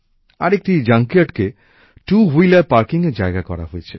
আরেকটি জাঙ্কিয়ার্ডকে two wheeler পার্কিংয়ের জায়গা করা হয়েছে